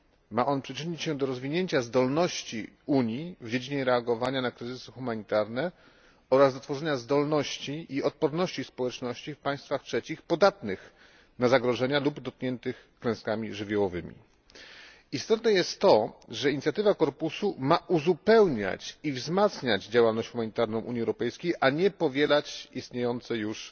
Ma on przyczynić się do rozwinięcia zdolności Unii w dziedzinie reagowania na kryzysy humanitarne oraz utworzenia zdolności i odporności społeczności w państwach trzecich podatnych na zagrożenia lub dotkniętych klęskami żywiołowymi. Istotne jest to, że inicjatywa korpusu ma uzupełniać i wzmacniać działalność humanitarną Unii Europejskiej, a nie powielać istniejące już